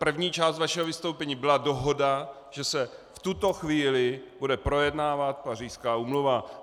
První část vašeho vystoupení byla dohoda, že se v tuto chvíli bude projednávat Pařížská úmluva.